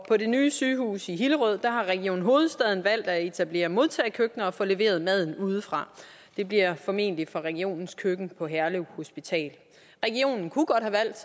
på det nye sygehus i hillerød har region hovedstaden valgt at etablere modtagekøkkener og få leveret maden udefra det bliver formentlig fra regionens køkken på herlev hospital regionen kunne godt have valgt